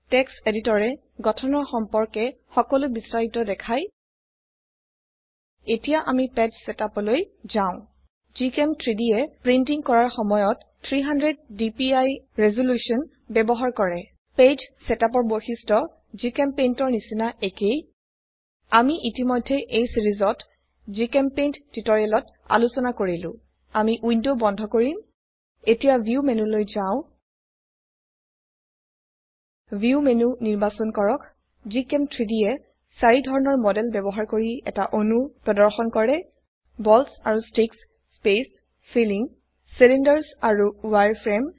text এডিটৰে গঠনৰ সম্পৰ্কে সকলো বিস্তাৰিত দেখায় এতিয়া আমি পেজ ছেটআপ লৈ যাও GChem3dয়ে প্ৰিন্টিং কৰাৰ সময়ত 300 ডিপিআই ৰেজল্যুশন ব্যবহাৰ কৰে পেজ ছেটআপ ৰ বৈশিষ্ট্য জিচেম্পেইণ্ট ৰ নিচিনা একেই আমি ইতিমধ্যে এই সিৰিজত জিচেম্পেইণ্ট টিউটৰিয়েলত আলোচনা কৰিলো আমি উইন্ডো বন্ধ কৰিম এতিয়া ভিউ মেনুলৈ যাও ভিউ মেনু নিৰ্বাচন কৰক GChem3Dয়ে চাৰি ধৰনৰ মডেল ব্যবহাৰ কৰি এটা অণু প্ৰদৰ্শন কৰে বলছ আৰু ষ্টিকছ স্পেচ ফিলিং চিলিণ্ডাৰ্ছ আৰু ৱায়াৰফ্ৰেম